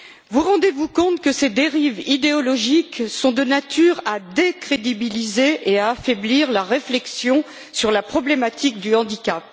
Vous rendez vous compte que ces dérives idéologiques sont de nature à décrédibiliser et à affaiblir la réflexion sur la problématique du handicap?